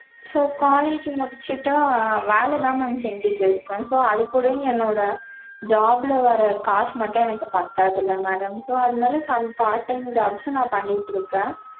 so college முடிச்சிட்டு வேல தான் mam செஞ்சிட்டு இருக்கேன். so அது கூடயும் என்னோட job ல வர்ற காசு மட்டும் எனக்கு பத்தாதுல madam so அதுனால some part time jobs ம் நா பண்ணிட்டு இருக்கேன்.